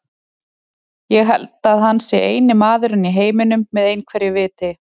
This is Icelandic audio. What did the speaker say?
Ég held að hann sé eini maðurinn í heiminum með einhverju viti.